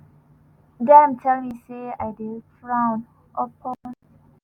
dem tell me say ai dey frowned upon."